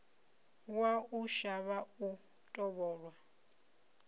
wa u shavha u tovholwa